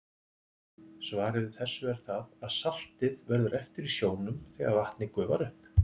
Svarið við þessu er það að saltið verður eftir í sjónum þegar vatnið gufar upp.